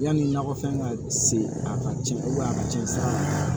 Yanni nakɔfɛn ka se a ka tiɲɛ a ka cɛn san